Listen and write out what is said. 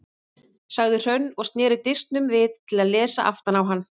sagði Hrönn og sneri disknum við til að lesa aftan á hann.